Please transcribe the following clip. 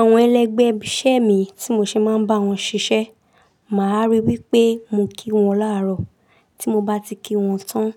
Àwọn ẹlẹgbẹ́ iṣẹ́ mi tí mo ṣe máa ń bá wọn ṣiṣẹ́, màá rí wípé mo kí wọn láàárọ̀, tí mo bá ti kí wọn tán,